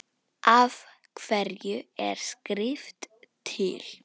Af hverju er skrift til?